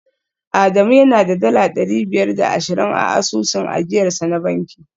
Adamu yana da dala dari biyar da ashirin a asusun ajiyarsa na banki